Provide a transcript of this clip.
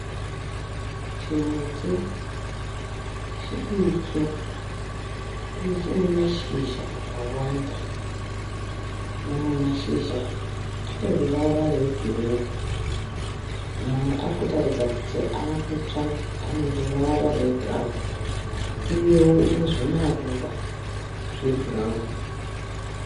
Chimuti chidiki uye chine mashizha akawanda. Mamwe mashizha ane ruvara rwegirini mamwe ari kuratidza akutsva ane ruvara rwebhurauni uyewo ine zvimaruva zvebhurauni.